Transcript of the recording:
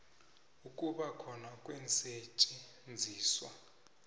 ukuba khona kweensetjenziswa